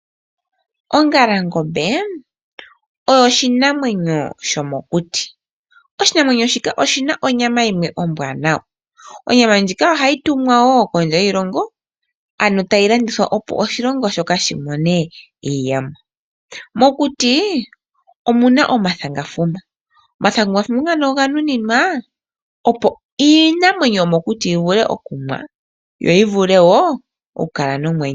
Ongalangombe oyo oshinamwenyo shomokuti. Oshinamwenyo shika oshi na onyama ombwanawa. Onyama ndjika ohayi tumwa kondje yiilongo ano tayi landithwa opo oshilongo shoka shi mone iiyemo. Mokuti omuna omathangafuma , omathangafuma oga nuninwa iinamwenyo yomokuti yi vule okunwa yo yi kale nomwenyo.